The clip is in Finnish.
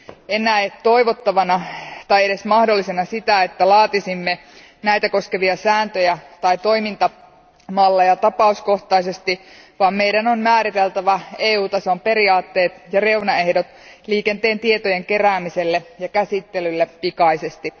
En näe toivottavana tai edes mahdollisena sitä, että laatisimme näitä koskevia sääntöjä tai toimintamalleja tapauskohtaisesti, vaan meidän on määriteltävä EU tason periaatteet ja reunaehdot liikenteen tietojen keräämiselle ja käsittelylle pikaisesti.